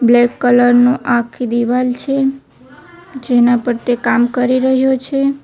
Black colour નું આખી દિવાલ છે જેના પર તે કામ કરી રહ્યો છે.